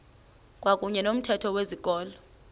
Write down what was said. kwakuyne nomthetho wezikolo